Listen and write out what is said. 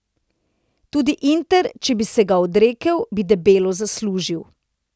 Tudi Inter, če bi se ga odrekel, bi debelo zaslužil.